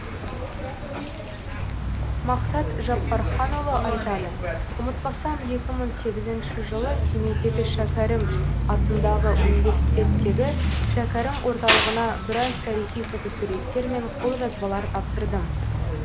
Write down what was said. мақсат жаппарханұлы айтады ұмытпасам екі мың сегізінші жылы семейдегі шәкәрім атындағы университеттегі шәкәрім орталығына біраз тарихи фотосуреттер мен қолжазбалар тапсырдым